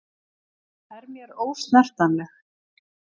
Er mér ósnertanleg.